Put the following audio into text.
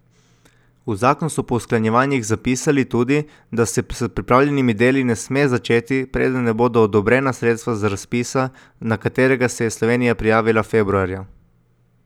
V zakon so po usklajevanjih zapisali tudi, da se s pripravljalnimi deli ne sme začeti, preden ne bodo odobrena sredstva z razpisa, na katerega se je Slovenija prijavila februarja.